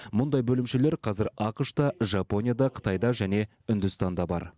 мұндай бөлімшелер қазір ақш та жапонияда қытайда және үндістанда бар